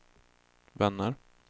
vänner